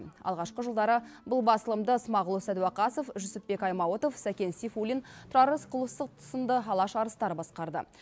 алғашқы жылдары бұл басылымды смағұл сәдуақасов жүсіпбек аймауытов сәкен сейфуллин тұрар рысқұлов сынды алаш арыстары басқарды